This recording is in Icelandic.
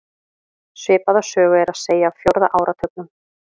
Svipaða sögu er að segja af fjórða áratugnum.